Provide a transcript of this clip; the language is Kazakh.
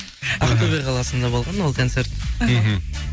ақтөбе қаласында болған ол концерт мхм